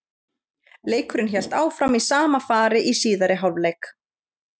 Leikurinn hélt áfram í sama fari í síðari hálfleik.